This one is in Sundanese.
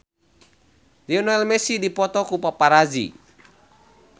Lionel Messi dipoto ku paparazi